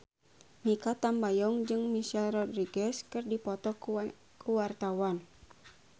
Mikha Tambayong jeung Michelle Rodriguez keur dipoto ku wartawan